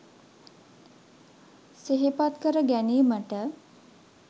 සිහිපත් කර ගැනීමට